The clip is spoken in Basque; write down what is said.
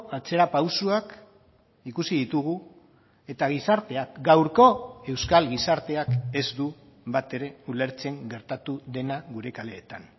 atzerapausoak ikusi ditugu eta gizarteak gaurko euskal gizarteak ez du batere ulertzen gertatu dena gure kaleetan